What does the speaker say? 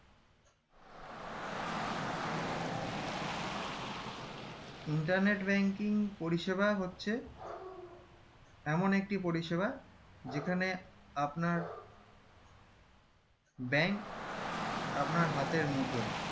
internet banking হচ্ছে এমন একটি পরিষেবা যেখানে আপনার bank আপনার হাতের মুঠোয়